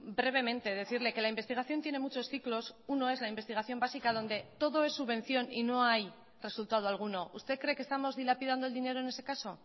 brevemente decirle que la investigación tiene muchos ciclos uno es la investigación básica donde todo es subvención y no hay resultado alguno usted cree que estamos dilapidando el dinero en ese caso